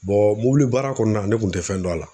mobilibaara kɔɔna ne kun tɛ fɛn dɔn a la?